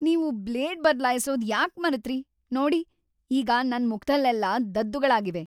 ನೀವು ಬ್ಲೇಡ್ ಬದ್ಲಾಯ್ಸೋದ್ ಯಾಕ್ ಮರೆತ್ರಿ? ನೋಡಿ ಈಗ ನನ್ ಮುಖದಲ್ಲೆಲ್ಲ ದದ್ದುಗಳಾಗಿವೆ!